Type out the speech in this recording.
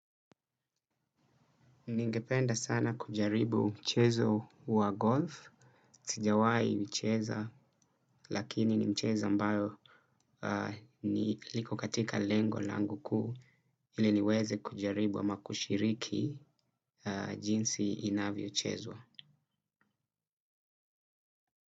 Ningependa sana kujaribu mchezo wa golf, sijawai hucheza lakini nimchezo ambayo liko katika lengo langu kuu ili niweze kujaribu ama kushiriki jinsi inavyo chezwa.